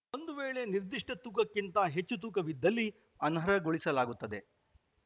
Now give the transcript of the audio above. ಒಂದು ವೇಳೆ ನಿರ್ದಿಷ್ಟತೂಕಕ್ಕಿಂತ ಹೆಚ್ಚು ತೂಕವಿದ್ದಲ್ಲಿ ಅನರ್ಹಗೊಳಿಸಲಾಗುತ್ತದೆ